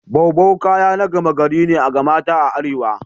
Boubou kaya na gama gari ga ne mata a arewa.